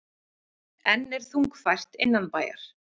Enn er þungfært innanbæjar